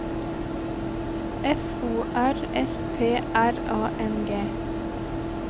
F O R S P R A N G